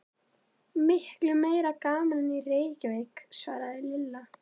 Miklu meira gaman en í Reykjavík svaraði Lilla.